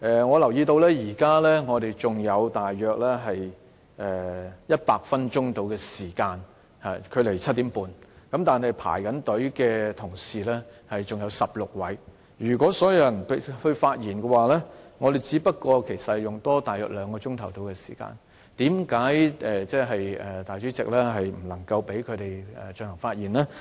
我留意到，距離7時30分，現在還有大約100分鐘的時間，但輪候發言的同事還有16位，如果讓所有議員發言，其實只需多花大約兩個小時，為甚麼主席不能夠讓他們發言呢？